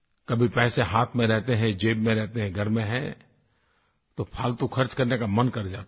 कभी पैसे हाथ में रहते हैं ज़ेब में रहते हैं घर में हैं तो फ़ालतू ख़र्च करने का मन कर जाता है